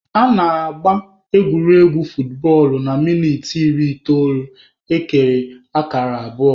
A na-agba egwuregwu futbọọlụ na minit iri itoolu, ekere kara abụọ.